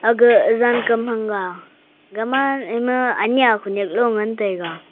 aga zaankam thang ga gama ima anya khanyak lo ngantaiga.